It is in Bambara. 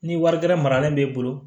Ni wari gɛrɛ maralen b'e bolo